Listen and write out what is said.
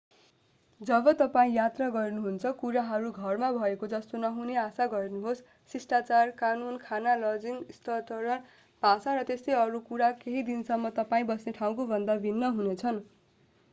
जब तपाईं यात्रा गर्नुहुन्छ कुराहरू घरमा भएको जस्तो नहुने आशा गर्नुहोस् शिष्टाचार कानून खाना लजिङ स्तरण भाषा र त्यस्तै अरू कुरा केही हदसम्म तपाईं बस्ने ठाउँकोभन्दा भिन्न हुनेछन्